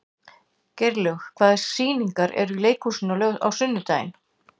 Geirlaug, hvaða sýningar eru í leikhúsinu á sunnudaginn?